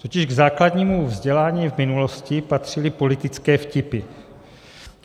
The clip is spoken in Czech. Totiž k základnímu vzdělání v minulosti patřily politické vtipy.